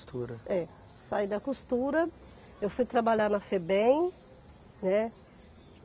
É, saí da costura, eu fui trabalhar na Febem, né.